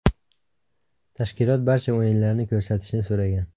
Tashkilot barcha o‘yinlarni ko‘rsatishni so‘ragan.